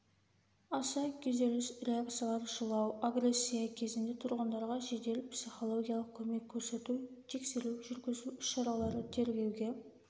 аса күйзеліс реакциялар жылау агрессия кезінде тұрғындарға жедел психологиялық көмек көрсету тексеру жүргізу іс-шаралары тергеуге